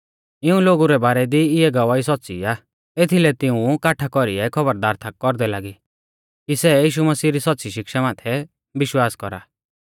इऊं लोगु रै बारै दी इऐ गवाही सौच़्च़ी आ एथीलै तिऊं काठा कौरीऐ खौबरदार थाक कौरदै लागी कि सै यीशु मसीह री सौच़्च़ी शिक्षा माथै विश्वास कौरा